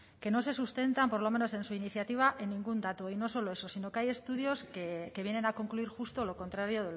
que no se sustentan por lo menos en su iniciativa en ningún dato y no solo eso sino que hay estudios que vienen a concluir justo lo contrario